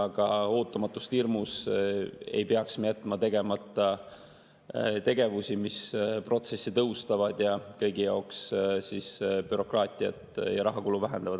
Aga ootamatuste hirmus ei peaks me jätma tegemata tegevusi, mis protsessi tõhustavad ja kõigi jaoks bürokraatiat ja rahakulu vähendavad.